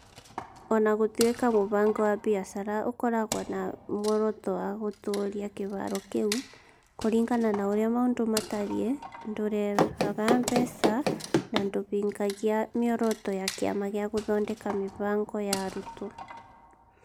O na gũtuĩka mũbango wa biacara ũkoragwo na muoroto wa gũtũũria kĩhaaro kĩu, kũringana na ũrĩa maũndũ matariĩ, ndũrehaga mbeca na ndũhingagia mĩoroto ya Kĩama gĩa gũthondeka mĩbango ya arutwo.